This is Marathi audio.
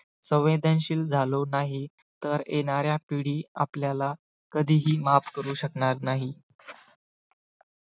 संवेदनशील झालो नाही, तर येणाऱ्या पिढी आपल्याला कधीही माफ करू शकणार नाही.